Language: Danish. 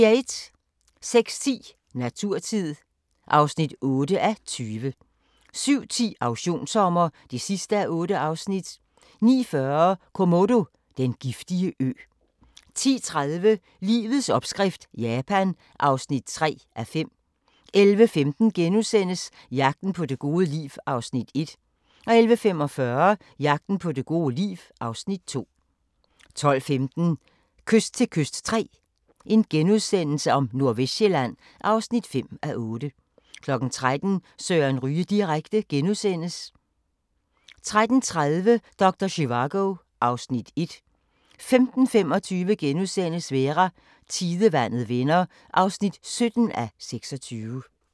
06:10: Naturtid (8:20) 07:10: Auktionssommer (8:8) 09:40: Komodo – den giftige ø 10:30: Livets opskrift – Japan (3:5) 11:15: Jagten på det gode liv (Afs. 1)* 11:45: Jagten på det gode liv (Afs. 2) 12:15: Kyst til kyst III – Nordvestsjælland (5:8)* 13:00: Søren Ryge direkte * 13:30: Doktor Zivago (Afs. 1) 15:25: Vera: Tidevandet vender (17:26)*